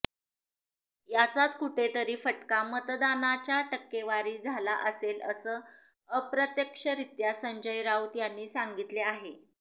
याचाच कुठेतरी फटका मतदानाच्या टक्केवारी झाला असेल असं अप्रत्यक्षरित्या संजय राऊत यांनी सांगितले आहे